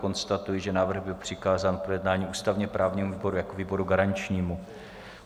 Konstatuji, že návrh byl přikázán k projednání ústavně-právnímu výboru jako výboru garančnímu.